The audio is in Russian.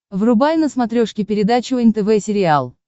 врубай на смотрешке передачу нтв сериал